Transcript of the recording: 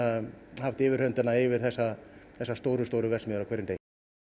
haft yfirhöndina yfir þessar þessar stóru stóru verksmiðjur á hverjum degi